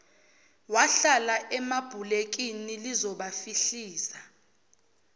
wahlala emabhulekini lizobafihliza